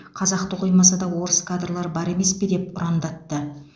қазақты қоймаса да орыс кадрлар бар емес пе деп ұрандатты